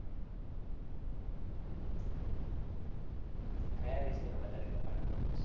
કયા વિષયમાં વધારે કપાણા marks?